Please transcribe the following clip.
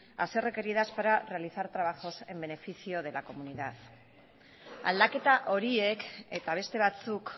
a ser requeridas para realizar trabajos en beneficio de la comunidad aldaketa horiek eta beste batzuk